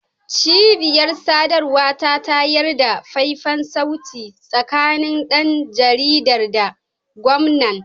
Cibiyar sadarwa ta tayar da faifan sauti tsakanin dan jaridar da gwamnan